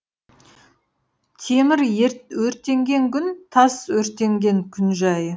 темір өртенген күн тас өртенген күн жайы